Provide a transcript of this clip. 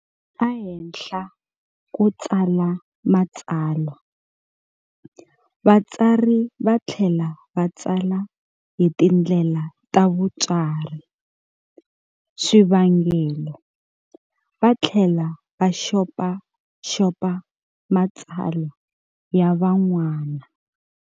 A henhla ko tsala matsalwa, vatsari va thlela vatsala hi tindlela ta vutsari, swivangelo, vathlela va xopaxopa matsalwa ya va'nwana.